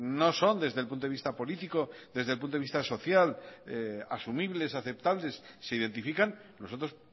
no son desde el punto de vista político desde el punto de vista social asumibles aceptables se identifican nosotros